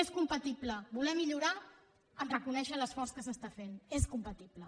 és compatible voler millorar amb reconèixer l’esforç que s’està fent és compatible